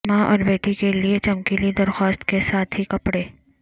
ماں اور بیٹی کے لئے چمکیلی درخواست کے ساتھ ہی کپڑے